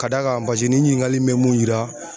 Ka d'a kan paseke ni ɲiningali in bɛ mun yira